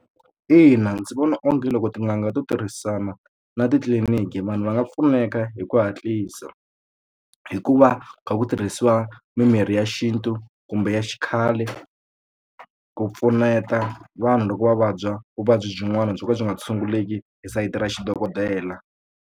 Ina ndzi vona onge loko tin'anga to tirhisana na titliliniki vanhu va nga pfuneka hi ku hatlisa hi ku va kha ku tirhisiwa mimirhi ya xintu kumbe ya xikhale ku pfuneta vanhu loko va vabya vuvabyi byin'wana byo ka byi nga tshunguleki hi sayiti ra xi dokodela.